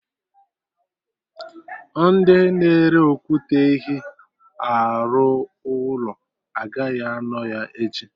Ndị na-ere okwute ehi arụ ụlọ agaghị anọ ya echi